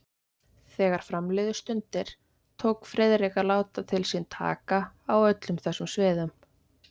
Þegar fram liðu stundir, tók Friðrik að láta til sín taka á öllum þessum sviðum.